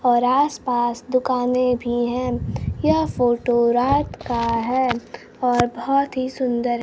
और आस पास दुकानें भी हैं यह फोटो रात का है और बहोत ही सुंदर--